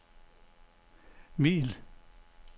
middel